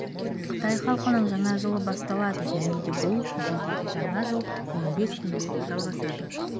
қытай халқының жаңа жылы басталады және де бұл елдегі жаңа жыл он бес күнге жалғасады